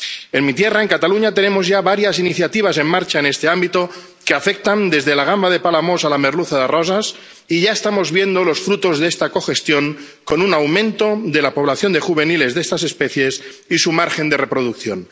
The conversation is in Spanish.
En mi tierra, en Cataluña, tenemos ya varias iniciativas en marcha en este ámbito que afectan desde la gamba de Palamós a la merluza de Roses, y ya estamos viendo los frutos de esta cogestión con un aumento de la población de juveniles de estas especies y su margen de reproducción.